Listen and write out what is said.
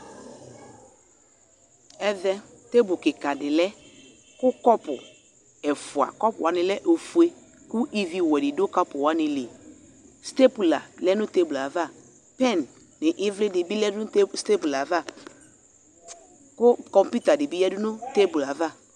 Avɛ tebu kika de lɛ ko, kɔpu ɛfua, kɔpu wane lɛ ofue ko iviwɛ de do kapu wane li Stepula lɛ no tebul avaPɛn no evle de be lɛ no tebi, stepla ava ko komputa de be yadu no teblu ava